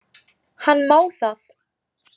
Hann má það.